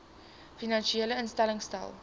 finansiële instellings stel